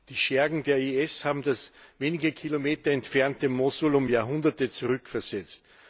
Die Schergen der IS haben das wenige Kilometer entfernte Mossul um Jahrhunderte zurückversetzt.